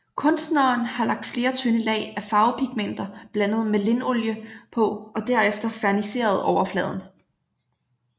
Kunstneren har lagt flere tynde lag af farvepigmenter blandet med linolie på og derefter ferniseret overfladen